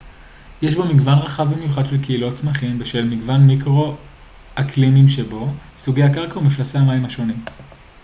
יש בו מגוון רחב במיוחד של קהילות צמחים בשל מגוון מיקרו-אקלימים שבו סוגי הקרקע ומפלסי המים השונים